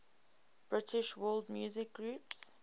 british world music groups